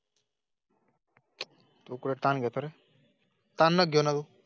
उकळण्या तर? ताना घेऊन.